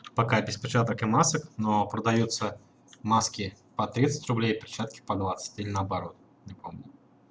пока без перчаток и масок но продаётся маски по тридцать рублей перчатки по двадцать или наоборот не помню